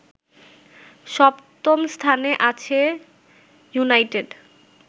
সপ্তম স্থানে আছে ইউনাইটেড